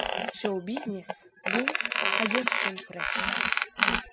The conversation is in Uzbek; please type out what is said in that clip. Shou-biznes bu hayot uchun kurash.